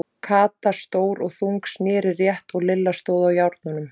Kata, stór og þung, sneri rétt og Lilla stóð á járnunum.